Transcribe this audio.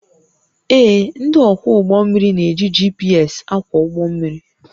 Ee, ndị ọkwọ ụgbọ mmiri na-eji GPS akwọ ụgbọ mmiri